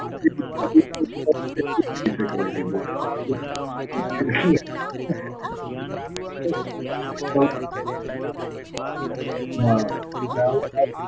જેટલું બી થઈ શકાય એની જોડે. શું? જેટલું બી. નાં એટલે આ અ ર ર.